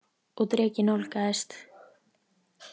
Og drekinn nálgaðist.